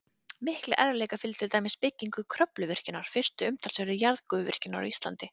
Miklir erfiðleikar fylgdu til dæmis byggingu Kröfluvirkjunar, fyrstu umtalsverðu jarðgufuvirkjunar á Íslandi.